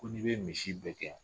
Ko n'i be misi bɛɛ gɛn